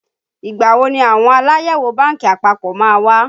Ìgbà wo ni àwọn Aláyẹ̀wò bánkì àpapọ̀ má wá?